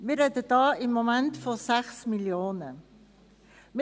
Wir sprechen im Moment von 6 Mio. Franken.